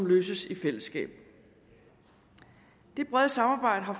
løses i fællesskab det brede samarbejde har